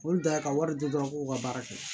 Olu da ka wari di dɔrɔn k'u ka baara kɛ